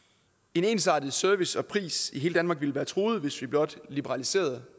en ensartet service og pris i hele danmark ville være truet hvis vi blot liberaliserede